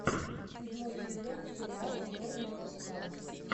седьмой сезон сериал черные паруса